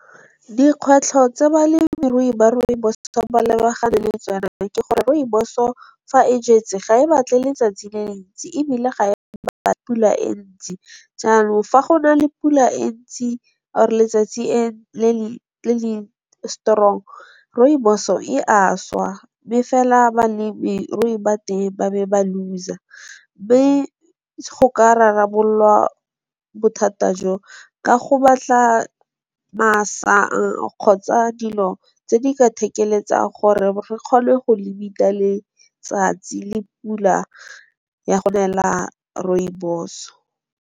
Dikgwetlho tsa balemirui ba rooibos ba lebagane le tsona ke gore, rooibos-o fa e jetse ga e batle letsatsi le le ntsi ebile ga e batle pula e ntsi, jaanong fa go na le pula e ntsi or letsatsi le le strong rooibos-o e a šwa, mme fela balemirui ba teng ba be ba looser. Mme go ka rarabololwa bothata jo ka go batla kgotsa dilo tse di ka thekeletsang gore re kgone go limit-a letsatsi le pula ya go nela rooibos-o.